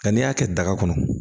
Nka n'i y'a kɛ daga kɔnɔ